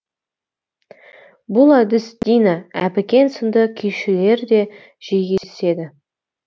бұл әдіс дина әбікен сынды күйшілерде жиі кездеседі